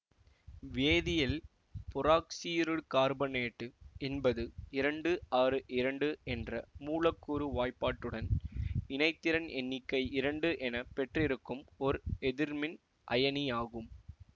வேதியலில் பெராக்சோயிருகார்பனேட்டு என்பது இரண்டு ஆறு இரண்டு என்ற மூலக்கூறு வாய்பாடுடன் இணைதிறன் எண்ணிக்கை இரண்டு என பெற்றிருக்கும் ஒர் எதிர்மின் அயனியாகும்